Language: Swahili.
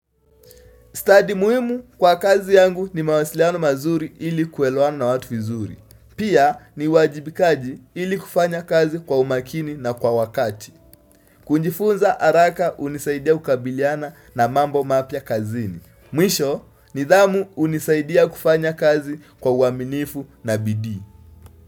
Study muhimu kwa kazi yangu ni mawasiliano mazuri ili kuelewana na watu vizuri. Pia ni uwajibikaji ili kufanya kazi kwa umakini na kwa wakati. Kujifunza haraka hunisaidia kabiliana na mambo mapya kazini. Mwisho nidhamu hunisaidia kufanya kazi kwa uaminifu na bidii.